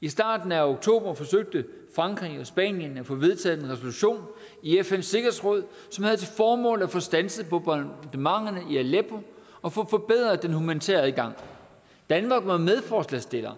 i starten af oktober forsøgte frankrig og spanien at få vedtaget en resolution i fns sikkerhedsråd som havde til formål at få standset bombardementerne i aleppo og få forbedret den humanitære adgang danmark var medforslagsstiller